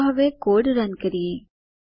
ચાલો હવે code run કરીએ